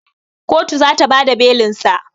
Kotu zata bada belinsa